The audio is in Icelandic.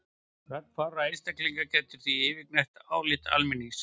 Rödd fárra einstaklinga getur því yfirgnæft álit almennings.